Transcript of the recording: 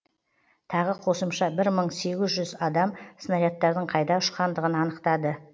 тағы қосымша бір мың сегіз жүз адам снарядтардың қайда ұшқандығын анықтап